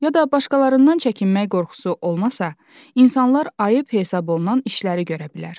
Ya da başqalarından çəkinmək qorxusu olmasa, insanlar ayıb hesab olunan işləri görə bilər.